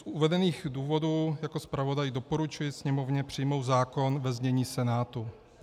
Z uvedených důvodů jako zpravodaj doporučuji Sněmovně přijmout zákon ve znění Senátu.